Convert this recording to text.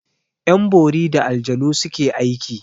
Yan bori da aljanu suke aiki.